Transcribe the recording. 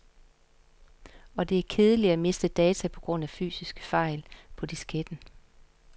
Og det er kedeligt at miste data på grund af fysiske fejl på disketten.